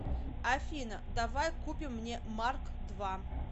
афина давай купим мне марк два